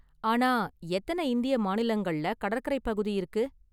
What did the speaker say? ஆனா, எத்தன இந்திய மாநிலங்கள்ல கடற்கரைப் பகுதி இருக்கு?